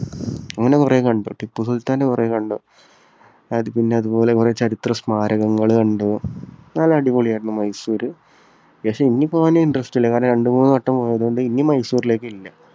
അങ്ങനെ കുറേ കണ്ടു. ടിപ്പുസുൽത്താന്റെ കുറേ കണ്ടു. അത് പിന്നെ അതുപോലെ കുറേ ചരിത്ര സ്മാരകങ്ങൾ കണ്ടു. നല്ല അടിപൊളിയായിരുന്നു മൈസൂര്. പക്ഷേ ഇനി പോകാൻ interest ഇല്ല. കാരണം രണ്ടുമൂന്നുവട്ടം പോയതുകൊണ്ട് ഇനി മൈസൂറിലേക്ക് ഇല്ല.